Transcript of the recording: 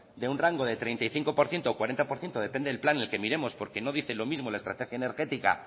de un rango de treinta y cinco por ciento cuarenta por ciento depende del plan que miremos porque no dice lo mismo la estrategia energética